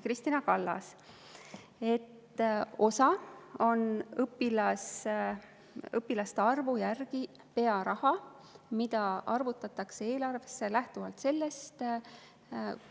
Kristina Kallas vastas, et osa sellest on õpilaste arvu järgi arvestatud pearaha, mis arvestatakse eelarvesse lähtuvalt sellest,